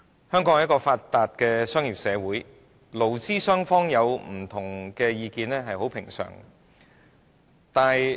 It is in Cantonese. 香港是一個發達的商業社會，勞資雙方有不同意見，是很平常的。